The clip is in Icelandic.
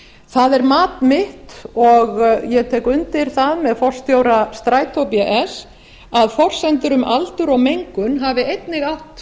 það er mat mitt og ég tek undir það með forstjóra strætó bs að forsendur um aldur og mengun hafi einnig átt